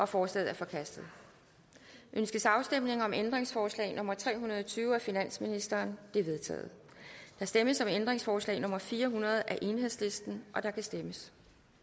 forslaget er forkastet ønskes afstemning om ændringsforslag nummer tre hundrede og tyve af finansministeren det er vedtaget der stemmes om ændringsforslag nummer fire hundrede af enhedslisten og der kan stemmes